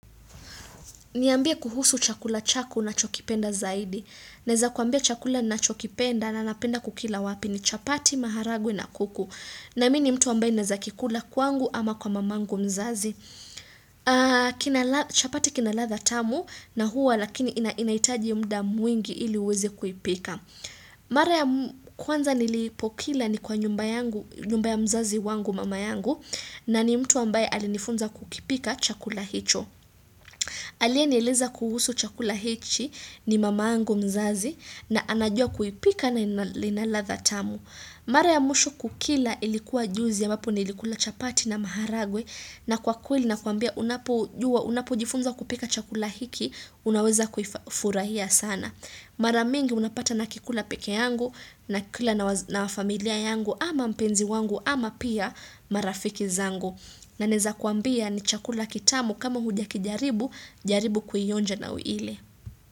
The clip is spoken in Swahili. Niambie kuhusu chakula chaku unachokipenda zaidi. Neza kuambia chakula nachokipenda na napenda kukila wapi ni chapati, maharagwe na kuku. Na mini mtu ambaye neza kikula kwangu ama kwa mamangu mzazi. Chapati kina ladha tamu na huwa lakini inaitaji mda mwingi ili uwezi kuipika. Mara ya kwanza nilipokila ni kwa nyumba ya mzazi wangu mama yangu. Na ni mtu ambaye alinifunza kukipika chakula hicho. Alienieleza kuhusu chakula hechi ni mamangu mzazi na anajua kuipika na ina ladha tamu. Mara ya mwisho kukila ilikuwa juzi ya amwapo nilikula chapati na maharagwe na kwa kweli nakuambia unapojifunza kupika chakula hiki unaweza kufurahia sana. Mara mingi unapata nakikula peke yangu nakikula na wafamilia yangu ama mpenzi wangu ama pia marafiki zangu. Na neza kuambia ni chakula kitamu kama hujakijaribu, jaribu kuionja na uile.